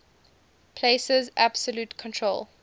places absolute control